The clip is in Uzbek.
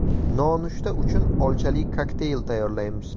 Nonushta uchun olchali kokteyl tayyorlaymiz.